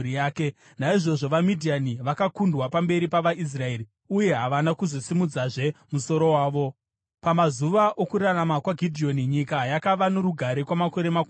Naizvozvo vaMidhiani vakakundwa pamberi pavaIsraeri uye havana kuzosimudzazve musoro wavo. Pamazuva okurarama kwaGidheoni, nyika yakava norugare kwamakore makumi mana.